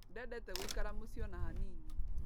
Ndendete gũikara mũciĩ ona hanini.